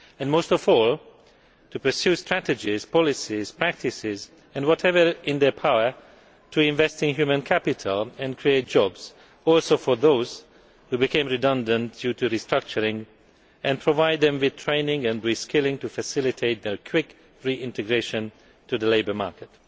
Most of all they need to pursue strategies, policies, practices and whatever is in their power to invest in human capital and create jobs, including for those who have become redundant due to restructuring, and provide them with training and re skilling to facilitate their quick reintegration into the labour market.